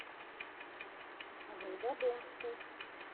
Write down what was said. волгодонску